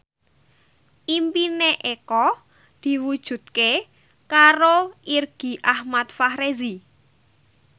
impine Eko diwujudke karo Irgi Ahmad Fahrezi